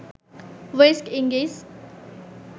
West Indies